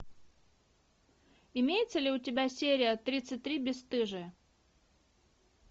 имеется ли у тебя серия тридцать три бестыжие